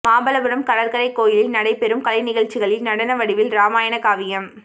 மாமல்லபுரம் கடற்கரை கோயிலில் நடைபெறும் கலை நிகழ்ச்சிகளில் நடன வடிவில் ராமாயண காவியம்